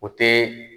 O tɛ